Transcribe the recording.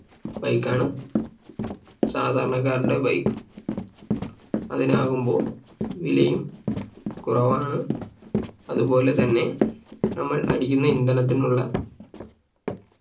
Bike ആണ് സാധാരണക്കാരുടെ Bike അതിനാകുമ്പോ വിലയും കുറവാണ് അതുപോലെ തന്നെ നമ്മൾ അടിക്കുന്ന ഇന്ധനത്തിനുള്ള